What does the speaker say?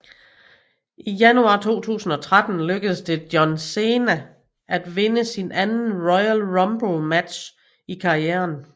I januar 2013 lykkedes det John Cena at vinde sin anden Royal Rumble match i karrieren